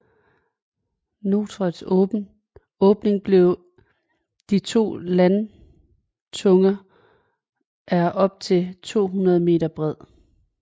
Norets åbning mellem de to landtunger er op til 200 m bred